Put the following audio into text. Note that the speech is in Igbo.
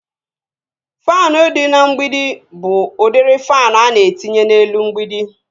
Faanụ dị n'mgbidi bụ udiri faanụ ana etinye n'elu mgbidi